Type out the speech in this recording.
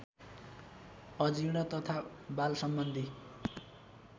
अजीर्ण तथा वाल सम्बन्धी